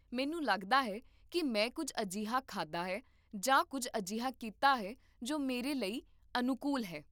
ਮੈਨੂੰ ਲੱਗਦਾ ਹੈ ਕਿ ਮੈਂ ਕੁੱਝ ਅਜਿਹਾ ਖਾਧਾ ਹੈ ਜਾਂ ਕੁੱਝ ਅਜਿਹਾ ਕੀਤਾ ਹੈ ਜੋ ਮੇਰੇ ਲਈ ਅਨੁਕੂਲ ਨਹੀਂ ਹੈ